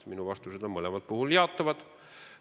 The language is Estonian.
Minu vastused on mõlemal puhul jaatavad.